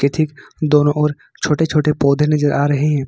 दोनो ओर छोटे छोटे पौधे नजर आ रहे हैं।